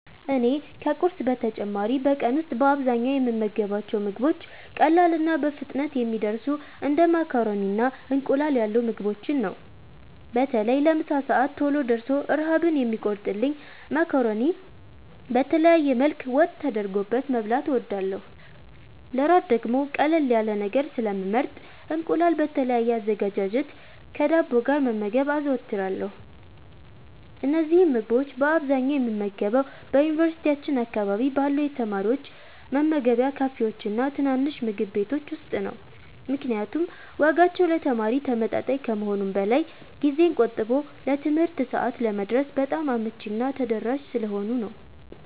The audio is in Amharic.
እኔ ከቁርስ በተጨማሪ በቀን ውስጥ በአብዛኛው የምመገባቸው ምግቦች ቀላልና በፍጥነት የሚደርሱ እንደ ማካሮኒና እንቁላል ያሉ ምግቦችን ነው። በተለይ ለምሳ ሰዓት ቶሎ ደርሶ ረሃብን የሚቆርጥልኝን ማካሮኒ በተለያየ መልክ ወጥ ተደርጎበት መብላት እወዳለሁ። ለእራት ደግሞ ቀለል ያለ ነገር ስለሚመረጥ እንቁላል በተለያየ አዘገጃጀት ከዳቦ ጋር መመገብ አዘወትራለሁ። እነዚህን ምግቦች በአብዛኛው የምመገበው በዩኒቨርሲቲያችን አካባቢ ባሉ የተማሪዎች መመገቢያ ካፌዎችና ትናንሽ ምግብ ቤቶች ውስጥ ነው፤ ምክንያቱም ዋጋቸው ለተማሪ ተመጣጣኝ ከመሆኑም በላይ ጊዜን ቆጥቦ ለትምህርት ሰዓት ለመድረስ በጣም አመቺና ተደራሽ ስለሆኑ ነው።